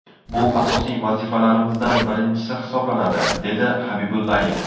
Bu asosiy vazifalarimizdan birinchisi hisoblanadi”, dedi Habibullayev.